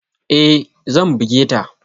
E, zan buge ta.